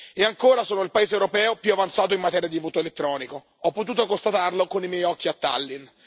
E ancora, sono il paese europeo più avanzato in materia di voto elettronico, ho potuto constatarlo con i miei occhi a Tallinn.